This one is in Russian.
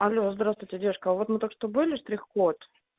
алло здравствуйте девушка а вот мы только что были штрих-код